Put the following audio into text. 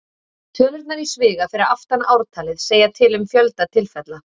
Tölurnar í sviga fyrir aftan ártalið segja til um fjölda tilfella.